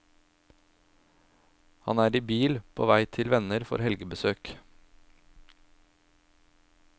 Han er i bil, på vei til venner for helgebesøk.